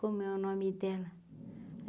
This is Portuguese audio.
Como é o nome dela?